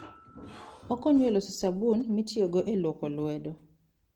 Okonyo e loso sabun mitiyogo e lwoko lwedo.